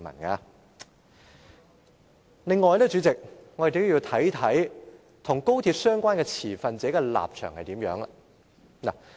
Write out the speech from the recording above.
此外，代理主席，我們也要看看與高鐵相關的持份者的立場。